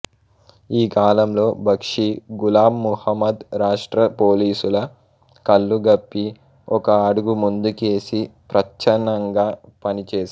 ఈ కాలంలో బక్షీ గులాం మహమ్మద్ రాష్ట్ర పోలీసుల కళ్ళుగప్పి ఒక అడుగు ముందుకేసి ప్రచ్ఛన్నంగా పనిచేశాడు